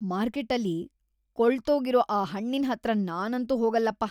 ಮಾರ್ಕೆಟ್ಟಲ್ಲಿ ಕೊಳ್ತೋಗಿರೋ ಆ ಹಣ್ಣಿನ್ ಹತ್ರ ನಾನಂತೂ ಹೋಗಲ್ಲಪ್ಪ.